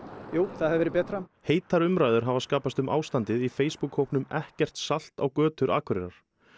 jú það hefði verið betra heitar umræður hafa skapast um ástandið í Facebook hópnum ekkert salt á götur Akureyrar